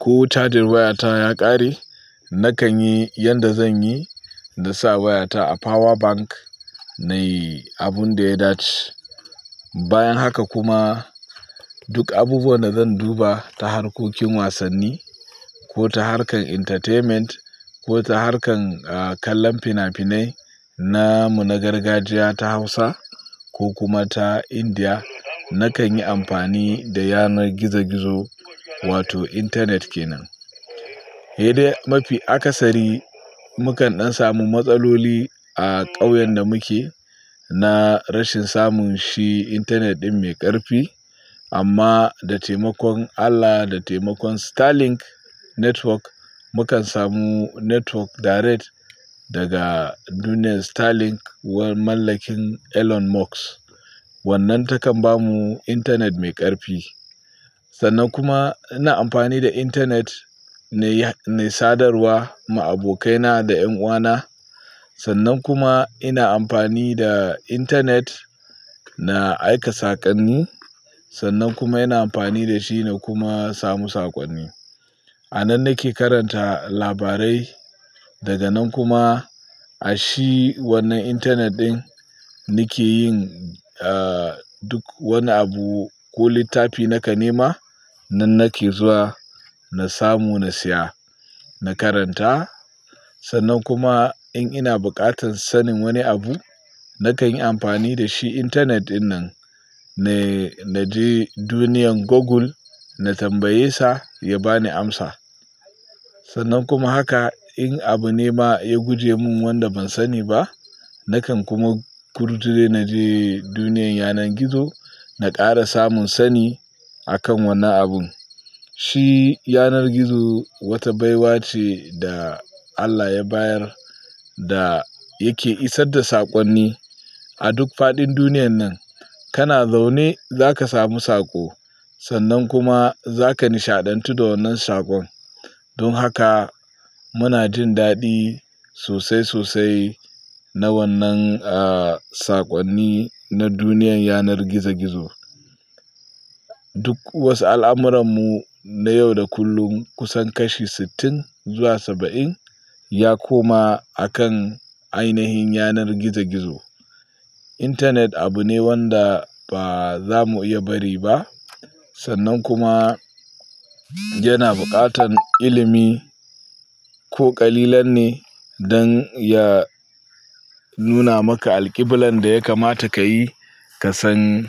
ko cajin wayata ya ƙare, nakan yi yanda zanyi nasa wayata a power bank na yi abun da ya dace. Bayan haka kuma duk abubuwan da zan duba ta harkokin wasanni ko ta harkar entertainment ko ta harkan kallon finafinai namu na gargajiya ta Hausa ko kuma ta Indiya, nakan yi amfani da yanar gizo gizo wato intanet kenan. He dai mafi akasari mukan ɗan samu matsaloli a ƙauyen da muke na rashin samun shi intanet ɗin mai ƙarfi. Amma da taimakon Allah, da taimakon Starlink Network mukan samu network direct daga duniyar Starlink walan mallakin Elon Musk. Wannan takan bamu intanet mai ƙarfi. Sannan kuma ina amfani da intanet ne, ne sadarwa ma abokaina da yan uwana. Sannan kuma ina amfani da intanet na aika saƙonni. Sannan kuma ina amfani da shi na kuma samu saƙonni. A nan nake karanta labarai, daga nan kuma a shi wannan intanet ɗin nike yin duk wani abu ko littafi naka nema nan nake zuwa na samu na siya, na karanta. Sannan kuma in ina buƙatan sanin wani abu, nakan yi amfani da shi intanet ɗin nan na je duniyar Google, na tambaye sa ya bani amsa. Sannan kuma haka in abu ne ma ya guje mun wanda ban sani ba, nakan kuma kurduje na je duniyar yanar gizo, na ƙara samun sani akan wannan abun. Shi yanar gizo wata baiwa ce da Allah ya bayar da yake isar da saƙonni a duk faɗin duniyan nan. Kana zaune zaka samu saƙo sannan kuma zaka nishaɗantu da wannan saƙon. Don haka muna jin daɗi sosai sosai na wannan saƙonni na duniyar yanar gizo gizo. Duk wasu al'amuran mu na yau da kullum kusan kashi sittin zuwa saba'in ya koma akan ainahin yanar gizo gizo. Intanet abu ne wanda ba za mu iya bari ba. Sannan kuma yana buƙatan ilimi ko ƙalilan ne don ya nuna maka alƙiblan da ya kamata ka yi ka san.